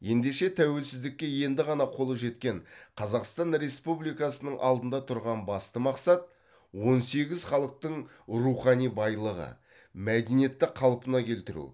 ендеше тәуелсіздікке енді ғана қолы жеткен қазақстан республикасының алдында тұрған басты мақсат он сегіз халықтың рухани байлығы мәдениетті қалпына келтіру